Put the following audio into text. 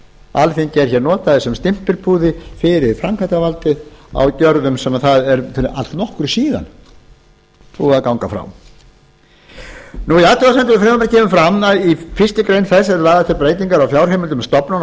alþingi er notað sem stimpilpúði fyrir framkvæmdavaldið á gerðum sem það er fyrir allnokkru síðan búið að ganga frá í athugasemdum við frumvarpið kemur fram að í fyrstu greinar þess eru lagðar til breytingar á fjárheimildum stofnana og